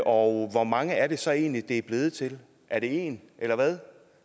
og hvor mange er det så egentlig det er blevet til er det én eller hvad